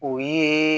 O ye